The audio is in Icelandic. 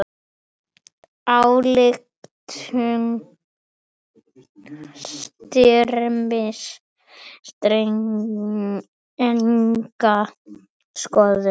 Ályktun Styrmis stenst enga skoðun.